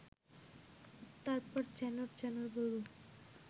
তারপর চ্যানর চ্যানর বলব